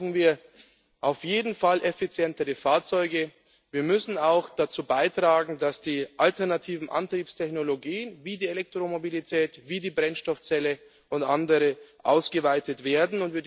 Dafür brauchen wir auf jeden Fall effizientere Fahrzeuge. Wir müssen auch dazu beitragen, dass die alternativen Antriebstechnologien wie die Elektromobilität, wie die Brennstoffzelle und andere ausgeweitet werden.